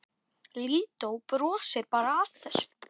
Lídó brosir bara að þessu.